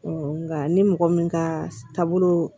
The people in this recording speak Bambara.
nka ni mɔgɔ min ka taabolo